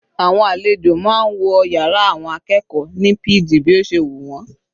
Àwọn àlejò máa ń wọ yàrá àwọn akẹ́kọ̀ọ́ ní pg bí ó ṣe wù wọ́n.